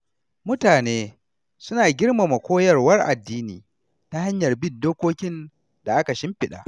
Mutane suna girmama koyarwar addini ta hanyar bin dokokin da aka shimfiɗa.